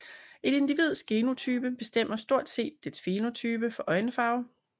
Et individs genotype bestemmer stort set dets fænotype for øjenfarve